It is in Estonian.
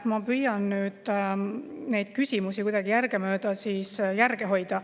Ma püüan nüüd neile küsimustele kuidagi järgemööda, järge hoida.